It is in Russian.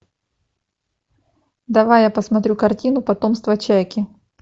давай я посмотрю картину потомство чайки